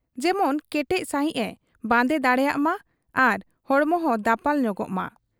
ᱡᱮᱢᱚᱱ ᱠᱮᱴᱮᱡ ᱥᱟᱹᱦᱤᱡ ᱮ ᱵᱟᱸᱫᱮ ᱫᱟᱲᱮᱭᱟᱜ ᱢᱟ ᱟᱨ ᱦᱚᱲᱢᱚᱦᱚᱸ ᱫᱟᱯᱟᱞ ᱧᱚᱜᱚᱜ ᱢᱟ ᱾